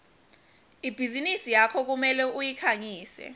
ibhizinisi yakho kumele uyikhangise